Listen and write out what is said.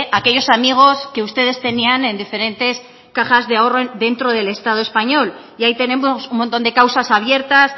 a aquellos amigos que ustedes tenían en diferentes cajas de ahorro dentro del estado español y ahí tenemos un montón de causas abiertas